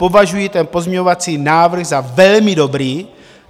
Považuji ten pozměňovací návrh za velmi dobrý.